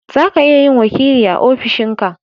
zaka iya yin wakili a ofishin ka